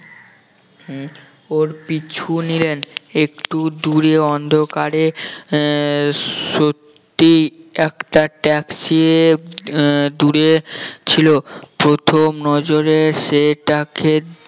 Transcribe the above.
ওর পিছু নিলেন একটু দূরে অন্ধকারে আহ সত্যি একটা taxi আহ দূরে ছিল প্রথম নজরে সেটাকে